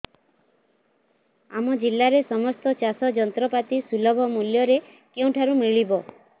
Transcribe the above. ଆମ ଜିଲ୍ଲାରେ ସମସ୍ତ ଚାଷ ଯନ୍ତ୍ରପାତି ସୁଲଭ ମୁଲ୍ଯରେ କେଉଁଠାରୁ ମିଳିବ